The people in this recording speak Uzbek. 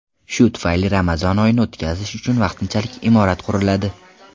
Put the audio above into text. Shu tufayli Ramazon oyini o‘tkazish uchun vaqtinchalik imorat quriladi.